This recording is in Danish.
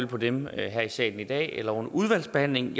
på dem her i salen i dag eller under udvalgsbehandlingen